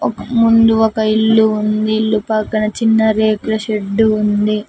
ముందు ఒక ఇల్లు ఉంది ఇల్లు పక్కన చిన్న రేకుల షెడ్డు ఉంది.